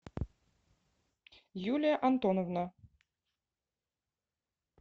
юлия антоновна